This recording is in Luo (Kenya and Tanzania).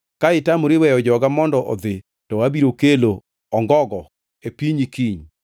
Ka itamori weyo joga mondo odhi, to abiro kelo ongogo e pinyi kiny.